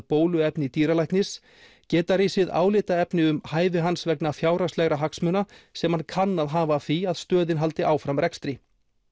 bóluefni dýralæknis geta risið álitaefni um hæfi hans vegna fjárhagslegra hagsmuna sem hann kann að hafa af því að stöðin haldi áfram rekstri